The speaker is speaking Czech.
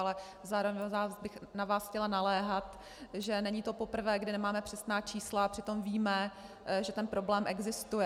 Ale zároveň bych na vás chtěla naléhat, že to není poprvé, kdy nemáme přesná čísla a přitom víme, že ten problém existuje.